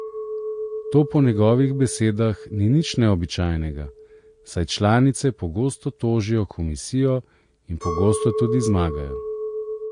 To po njegovih besedah ni nič neobičajnega, saj članice pogosto tožijo komisijo in pogosto tudi zmagajo.